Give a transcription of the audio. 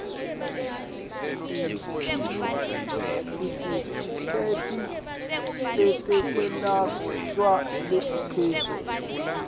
titifiketi tetekwelashwa letikhishwe